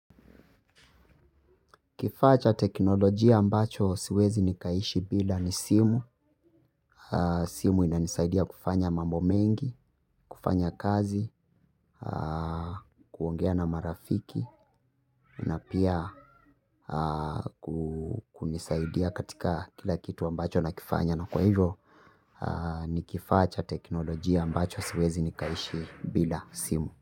Kifaa cha teknolojia ambacho siwezi nikaishi bila ni simu. Simu inanisaidia kufanya mambo mengi, kufanya kazi, kuongea na marafiki, na pia kunisaidia katika kila kitu ambacho nakifanya. Na kwa hivyo, ni kifaa cha teknolojia ambacho siwezi nikaishi bila simu.